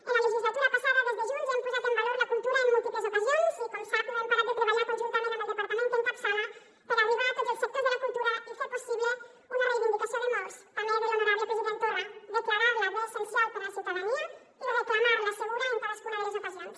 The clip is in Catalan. en la legislatura passada des de junts hem posat en valor la cultura en múltiples ocasions i com sap no hem parat de treballar conjuntament amb el departament que encapçala per arribar a tots els sectors de la cultura i fer possible una reivindicació de molts també de l’honorable president torra declarar la bé essencial per a la ciutadania i reclamar la segura en cadascuna de les ocasions